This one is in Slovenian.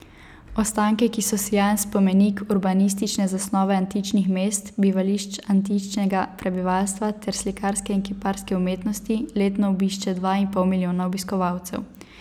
Ostanke, ki so sijajen spomenik urbanistične zasnove antičnih mest, bivališč antičnega prebivalstva ter slikarske in kiparske umetnosti, letno obišče dva in pol milijona obiskovalcev.